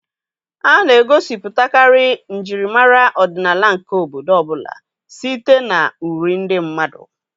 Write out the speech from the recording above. A na-egosipụtakarị njirimara ọdịnala nke obodo ọ bụla site na uri ndị mmadụ.